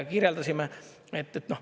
Kirjeldasime.